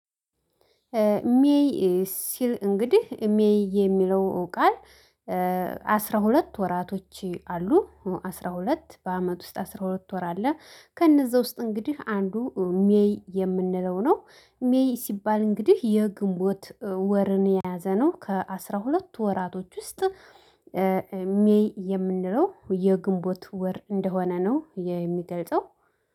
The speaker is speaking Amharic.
ሜይ። ሲል እንግዲህ ሜይ የሚለው ቃል። አስራ ሁለት ወራቶች አሉ አስራ ሁለት በአመት ውስጥ አስራ ሁለት ወር አለ ከእነዛ ውስጥ እንግዲህ አንዱ ሜይ የምንለው ነው። ሜይ ሲባል እንግዲህ የግንቦት ወርን የያዘ ነው ከአሥራ ሁለት ሁለት ወራቶች ውስጥ። ሜይ የምንለው የግንቦት ወር እንደሆነ ነው የሚገልጸው